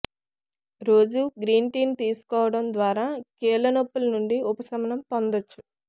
రోజూ గ్రీన్టీను తీసుకోవడం ద్వారా కీళ్ల నొప్పుల నుండి ఉపశమనం పొందొచ్చు